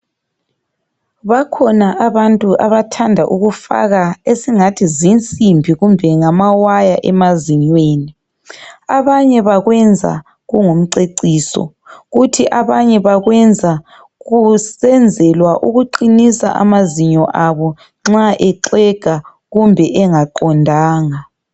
Bakhona abantu abathanda ukufaka esingathi zinsimbi kumbe esingathi ngamawire emazinyweni. Abanye bakwenza kungumceciso kuthi abanye bakwenza kusenzelwa ukuqinisa amazinyo abo nxa exega kumbe engaqondanga.